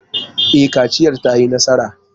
E, kaciyar ta yi nasara.